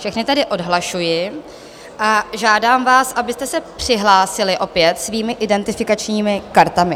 Všechny tedy odhlašuji a žádám vás, abyste se přihlásili opět svými identifikačními kartami.